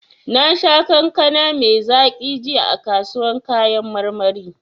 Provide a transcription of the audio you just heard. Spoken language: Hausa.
Nasha kankana mai zaki jiya a kasuwan kayan marmari.